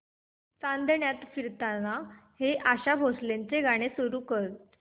चांदण्यात फिरताना हे आशा भोसलेंचे गाणे सुरू कर